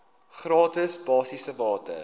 gratis basiese water